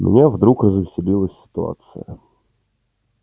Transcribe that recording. меня вдруг развеселила ситуация